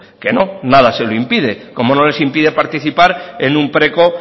que no nada se lo impide como no les impide participar en un preco